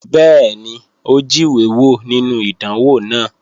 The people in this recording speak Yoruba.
Bẹ́ẹ̀ni, ó jíwé wò nínú ìdánwò náà